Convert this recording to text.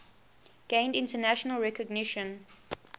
gained international recognition